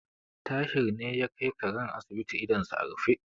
Tahir ne ya kai karen asibiti idonsa a rufe.